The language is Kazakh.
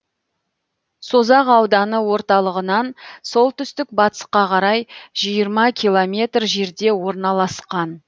созақ ауданы орталығынан солтүстік батысқа қарай жиырма километр жерде орналасқан